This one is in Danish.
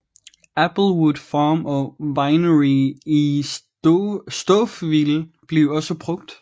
Applewood Farm and Winery i Stouffville blev også brugt